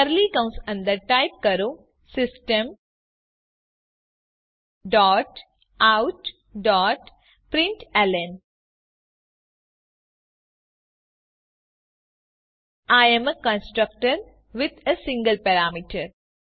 curly કૌસ અંદર type કરો system dot out dot println I am a constructor with a single parameter